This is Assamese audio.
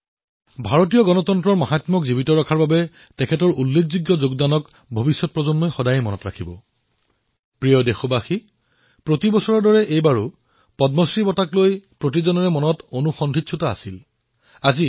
আপোনালোকে দেখিছে যে যেতিয়া পদ্ম বঁটাৰ ঘোষণা কৰা হয় তেতিয়া মানুহে সোধে এওঁ কোন হয় এক প্ৰকাৰে ইয়াক মই অধিক সফল বুলি কওঁ কাৰণ তেওঁলোকৰ বিষয়ে টিভি আলোচনা অথবা বাতৰিকাকতৰ প্ৰথম পৃষ্ঠাত প্ৰকাশ নহয়